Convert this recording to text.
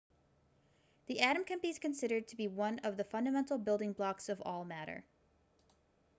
the atom can be considered to be one of the fundamental building blocks of all matter